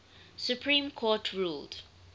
supreme court ruled